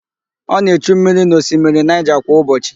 Ọ na-echu mmiri n'osimiri Naịja kwa ụbọchị.